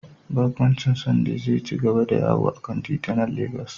Barkwancin Syunday zai ci gaba da yawo a kan titunan Legas.